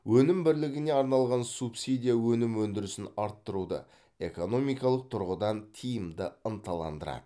өнім бірлігіне арналған субсидия өнім өндірісін арттыруды экономикалық тұрғыдан тиімді ынталандырады